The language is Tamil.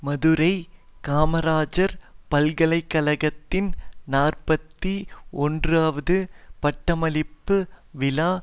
மதுரை காமராஜர் பல்கலை கழகத்தின் நாற்பத்தி ஒன்றுவது பட்டமளிப்பு விழா